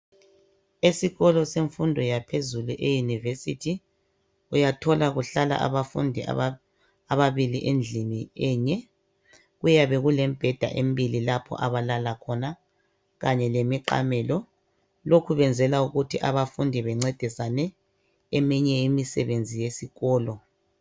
Esikolo semfundo yaphezulu euniversity uyathola kuhlala abafundi ababili endlini enye kuyabe kulemibheda embili lapho abalala khona kanye lemiqamelo lokhu kwenzelwa ukuthi abafundi bencedisane eminye imisebenzi yesikolo.